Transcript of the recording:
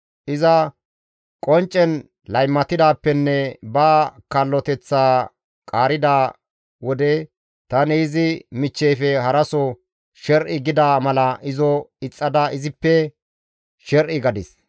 Iza qonccen laymatidaappenne ba kalloteththaa qaarida wode, tani izi michcheyfe haraso sher7i gida mala izo ixxada izippe sher7i gadis.